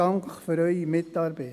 Dank für Ihre Mitarbeit.